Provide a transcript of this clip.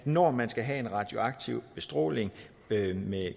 når man skal have en radioaktiv bestråling med